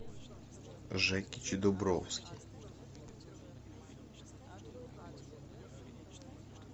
жекич дубровский